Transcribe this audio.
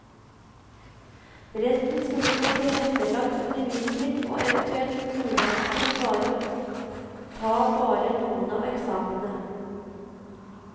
Resten skulle fått tilrettelagt undervisning og eventuelt muligheten til bare å ta bare noen av eksamenene.